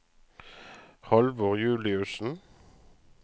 Halvor Juliussen